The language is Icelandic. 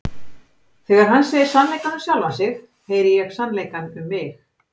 Þegar hann segir sannleikann um sjálfan sig heyri ég sannleikann um mig.